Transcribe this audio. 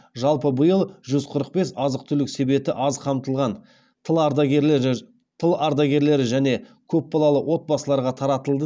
жалпы биыл жүз қырық бес азық түлік себеті аз қамтылған тыл ардагерлері және көпбалалы отбасыларға таратылды